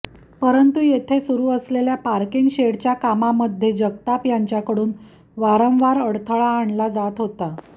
परंतु येथे सुरु असलेल्या पार्किंग शेडच्या कामामध्ये जगताप यांच्याकडून वारंवार अडथळा आणला जात होता